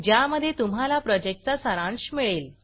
ज्यामध्ये तुम्हाला प्रॉजेक्टचा सारांश मिळेल